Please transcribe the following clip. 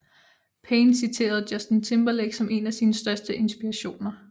Payne citerede Justin Timberlake som en af sine største inspirationer